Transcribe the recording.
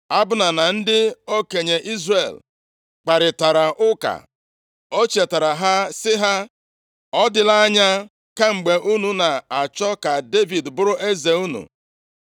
Abna na ndị okenye Izrel kparịtara ụka. Ọ chetaara ha sị ha, “Ọ dịla anya kemgbe unu na-achọ ka Devid bụrụ eze unu.